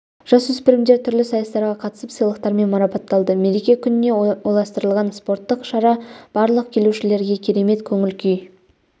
жасөспірімдер түрлі сайыстарға қатысып сыйлықтармен марапатталды мереке күніне орайластырылған спорттық шара барлық келушілерге керемет көңіл-күй